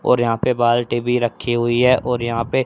और यहां पे बाल्टी भी रखी हुई है और यहां पे--